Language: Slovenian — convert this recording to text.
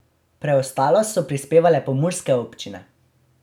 Preostalo so prispevale pomurske občine.